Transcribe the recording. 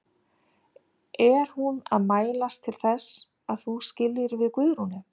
Er hún að mælast til þess að þú skiljir við Guðrúnu?